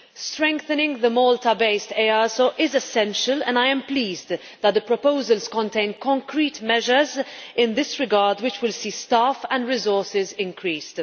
Strengthening the Malta-based EASO is essential and I am pleased that the proposals contain concrete measures in this regard which will see staff and resources increased.